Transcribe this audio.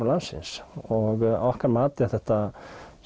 landsins og okkar mati eru þetta